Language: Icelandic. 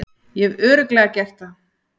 Ég hef Örugglega gert það.